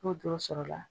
N'o doro sɔrɔla